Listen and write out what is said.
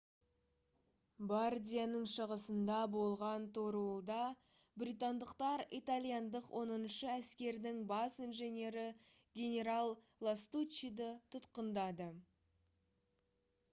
бардияның шығысында болған торуылда британдықтар итальяндық оныншы әскердің бас инженері генерал ластуччиді тұтқындады